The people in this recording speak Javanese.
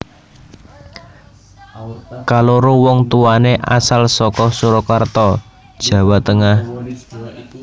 Kaloro wong tuwané asal saka Surakarta Jawa Tengah